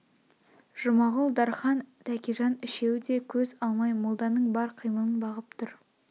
жұмағұл дарқан тәкежан үшеу де көз алмай молданың бар қимылын бағып тұр